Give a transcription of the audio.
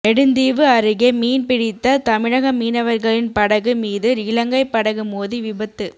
நெடுந்தீவு அருகே மீன்பிடித்த தமிழக மீனவர்களின் படகு மீது இலங்கை படகு மோதி விபத்து